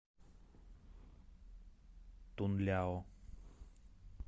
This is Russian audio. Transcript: тунляо